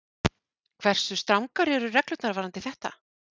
Hversu strangar eru reglurnar varðandi þetta?